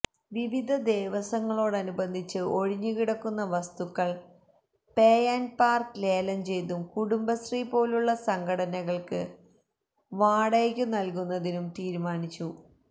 വിവിധ ദേവസ്വങ്ങളോടനുബന്ധിച്ച് ഒഴിഞ്ഞു കിടക്കുന്ന വസ്തുക്കൾ പേ ആൻഡ് പാർക്കിന് ലേലംചെയ്തും കുടുംബശ്രീ പോലുള്ള സംഘടനകൾക്ക് വാടകയ്ക്കും നൽകുന്നതിന് തീരുമാനിച്ചു